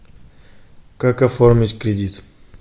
как оформить кредит